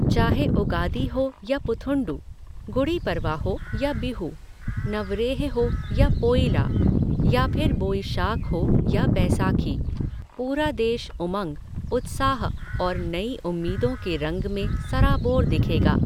चाहे उगादी हो या पुथंडू, गुड़ी पड़वा हो या बिहू, नवरेह हो या पोइला, या फिर बोईशाख हो या बैसाखी, पूरा देश, उमंग, उत्साह और नई उम्मीदों के रंग में सराबोर दिखेगा।